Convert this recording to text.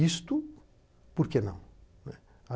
Isto, por que não? Né?